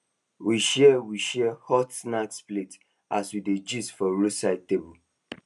we share we share hot snack plate as we dey gist for roadside table